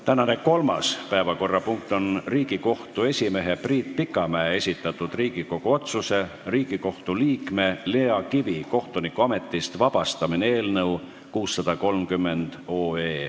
Tänane kolmas päevakorrapunkt on Riigikohtu esimehe Priit Pikamäe esitatud Riigikogu otsuse "Riigikohtu liikme Lea Kivi kohtunikuametist vabastamine" eelnõu 630.